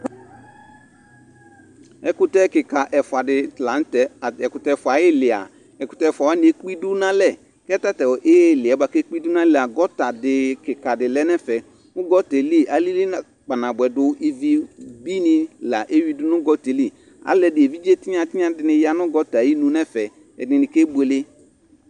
Ɛkʋtɛkɩka ɛfʋadɩ la nʋtɛ: tat'ɛkʋtɛ ɛfʋa ayɩlɩa , ɛkʋtɛ ɛfʋa wanɩ ekp' idu n'alɛ Kʋ tatʋ ɩɩlɩɛ k'ekpidu n'alɛa, gɔtadɩ kikadɩ lɛ n'ɛfɛ ;kʋ gɔtaɛ li alili na kpa nabʋɛ dʋ ivi binɩ la eyuidu nʋ gɔtaɛ li Alʋɛdɩnɩ evidze tinya tɩnya dɩnɩ ya nʋ gɔtaa yinu n'ɛfɛ , ɛdɩnɩ ke buele